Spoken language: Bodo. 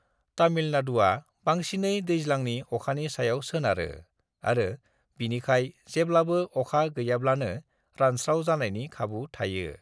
तमिलनाडुआ बांसिनै दैज्लांनि अखानि सायाव सोनारो आरो बिनिखाय जेब्लाबो अखा गैयाब्लानो रानस्राव जानायनि खाबु थायो।